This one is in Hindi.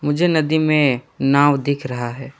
मुझे नदी में नाव दिख रहा है।